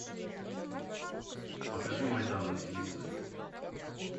покажи майдан на телевизоре